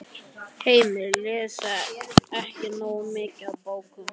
Heimir: Lesa ekki nógu mikið af bókum?